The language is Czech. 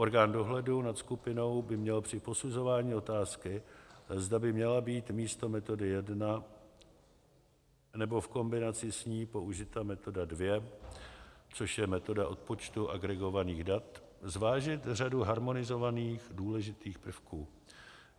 Orgán dohledu nad skupinou by měl při posuzování otázky, zda by měla být místo metody 1 nebo v kombinaci s ní použita metoda 2, což je metoda odpočtu agregovaných dat, zvážit řadu harmonizovaných důležitých prvků.